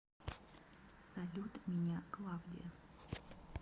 салют меня клавдия